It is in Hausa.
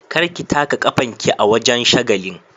Kar ki taka kafan ki a wajen shagalin.